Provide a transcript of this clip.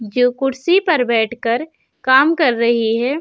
जो कूर्सी पर बैठ कर काम कर रही है।